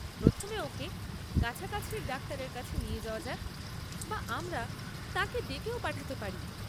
প্রথমে ওঁকে কাছাকাছির ডাক্তারের কাছে নিয়ে যাওয়া যাক, বা আমরা তাঁকে ডেকেও পাঠাতে পারি।